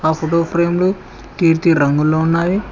Photo ఫ్రేమ్లు కీర్తి రంగులో ఉన్నాయి.